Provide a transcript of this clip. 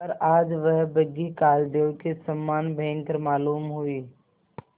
पर आज वह बग्घी कालदेव के समान भयंकर मालूम हुई